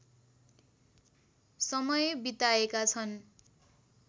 समय बिताएका छन्